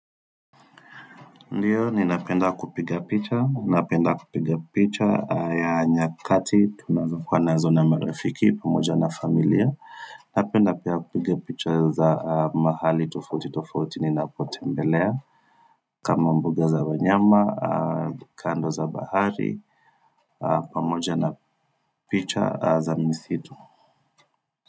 Ndiyo, ninapenda kupiga picha, napenda kupiga picha ya nyakati, tunazokuwa nazo na marafiki, pamoja na familia, napenda pia kupiga picha za mahali tofauti tofauti ninapotembelea, kama mbuga za wanyama, kando za bahari, pamoja na picha za misitu.